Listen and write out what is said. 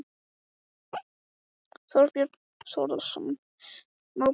Þorbjörn Þórðarson: Má búast við frekari gjaldskrárhækkun?